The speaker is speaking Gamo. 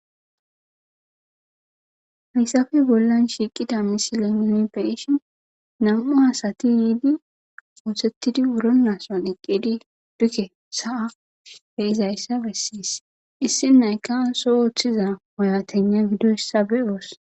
hayssafe bollan shiiqida misilenom beishin nam7u asati yiidi ooththettidi wuro naaso dhiqqidi dukke sa7a be izayssa bessiis issi nayka so ooththiza woyatena gidoyssa be7oos.